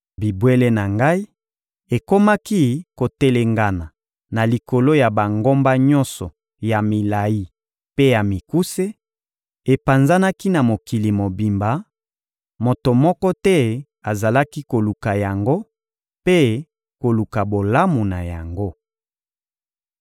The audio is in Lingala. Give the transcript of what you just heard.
Bibwele na Ngai ekomaki kotelengana na likolo ya bangomba nyonso ya milayi mpe ya mikuse, epanzanaki na mokili mobimba; moto moko te azalaki koluka yango mpe koluka bolamu na yango.